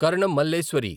Karanam Malleswari